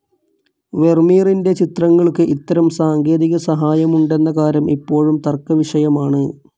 വെർമീറിൻ്റെ ചിത്രങ്ങൾക്ക് ഇത്തരം സാങ്കേതികസഹായമുണ്ടെന്ന കാര്യം ഇപ്പോഴും തർക്കവിഷയമാണ്.